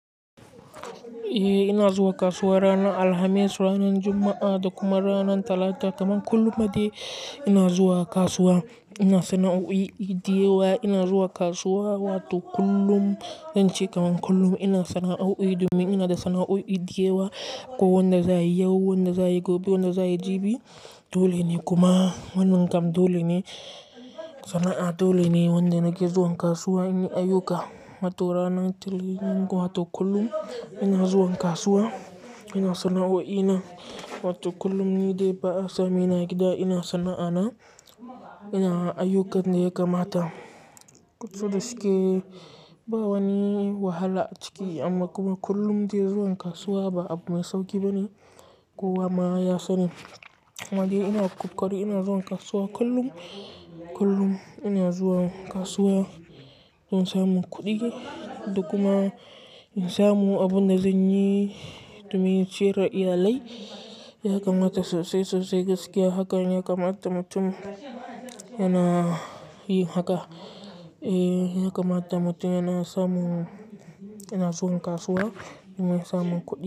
Eh ina zuwa kasuwa ranar Alhamis, ranar Juma'a da kuma ranar Talata kaman kullum ma dai ina zuwa kasuwa. Ina sana'a o'i idiyewa, ina zuwa kasuwa, wato kullum zanci kaman kullum ina sana'a o'i, domin ina da sana'a o'i idiyewa. Ko wanda za yi yau, wanda za yi gobe, wanda za yi jibi dole ne. Kuma wannan kam dole ne, sana'a dole ne wanda nake zuwa kasuwa. Ina ayuka, matu ranar til, n'nko wato kullum ina zuwa kasuwa. Ina sana'a o'ina wato kullum ni dai baa sa mane agida ina sana'ana. Ina ayukan da ya kamata. Kudi suke, ba wani wahala ciki amma kuma kullum dai zuwa kasuwa ba abu mai sauƙi bane. Kowa ma ya sani. Amma dai ina ƙoƙari ina zuwa kasuwa kullum. Kullum ina zuwa kasuwa don samun kuɗi da kuma in samu abunda zan yi domin ciyar da iyalai. Ya kamata sosai, sosai gaskiya hakan ya kamata mutum yana yi haka. Eh ya kamata mutum yana samun, yana zuwa kasuwa domin samun kuɗi.